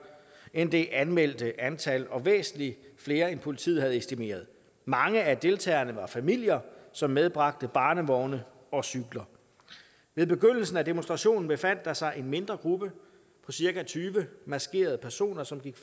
end det anmeldte antal og væsentlig flere end politiet havde estimeret mange af deltagerne var familier som medbragte barnevogne og cykler ved begyndelsen af demonstrationen befandt der sig en mindre gruppe på cirka tyve maskerede personer som gik